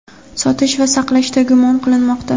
sotish va saqlashda gumon qilinmoqda.